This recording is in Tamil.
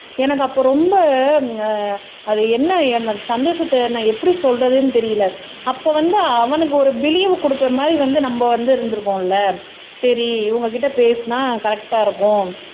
எனக்கு அப்போ ரொம்ப அது என்ன என்ன சந்தோஷத்தை நான் எப்படி சொல்றதுன்னு தெரியல அப்ப வந்து அவனுக்கு ஒரு விழிவ் கொடுக்கிற மாதிரி வந்து நம்ம வந்து இருந்திருக்கோம்ல சரி இவங்க கிட்ட பேசினா கரெக்ட்டா இருக்கும்